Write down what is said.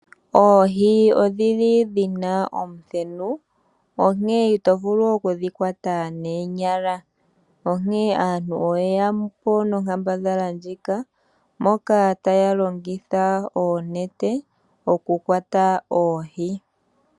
Oohi odhili dhina omuthenu onkene ito vulu okudhi kwata noonyala. Onkene aantu oye yapo nonkambadhala ndjika moka taya longitha oonete okukwata oohi.